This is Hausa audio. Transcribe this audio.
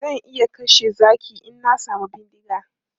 Zan iya kashe zaki in na samu bindiga.